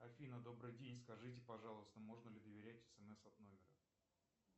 афина добрый день скажите пожалуйста можно ли доверять смс от номера